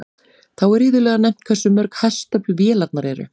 Þá er iðulega nefnt hversu mörg hestöfl vélarnar eru.